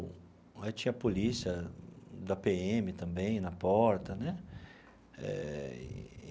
Aí tinha a polícia da pê eme também na porta né eh.